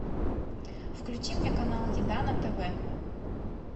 включи мне канал еда на тв